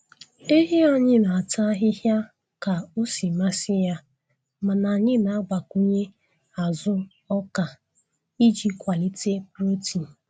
Ehi anyị na-ata ahịhịa ka o si masị ya mana anyị na-agbakwunye azụ oka iji kwalite protein.